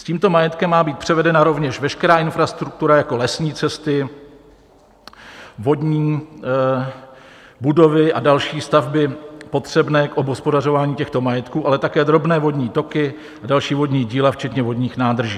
S tímto majetkem má být převedena rovněž veškerá infrastruktura jako lesní cesty, vodní, budovy a další stavby potřebné k obhospodařování těchto majetků, ale také drobné vodní toky a další vodní díla včetně vodních nádrží.